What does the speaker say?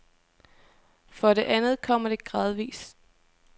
For det andet kommer det gradvis.